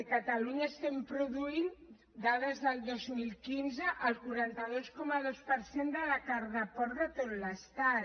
a catalunya estem produint dades del dos mil quinze el quaranta dos coma dos per cent de la carn de porc de tot l’estat